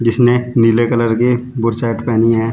जिसने नीले कलर की बुशर्ट पहनी है।